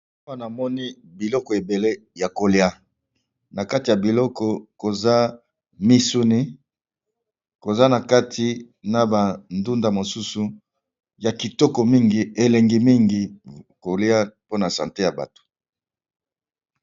Nazomona biloko ébélé ya kolia, nakati ya biloko yango, namoni ndunda na biloko mosusu ébélé ya kitoko